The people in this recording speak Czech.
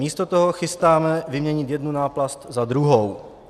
Místo toho chystáme vyměnit jednu náplast za druhou.